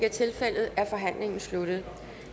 rimelig